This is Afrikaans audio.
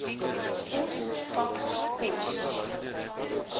pos faks pos